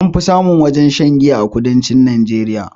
Anfi samun wajajen shan giya a kudancin najeriya